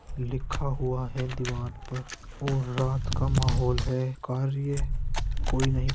लिखा हुआ है दीवार पर और रात का माहौल हैं। कार्य कोई नहीं --